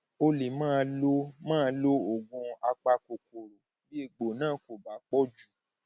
o lè má lo lè má lo oògùn apakòkòrò bí egbò náà kò bá pọ jù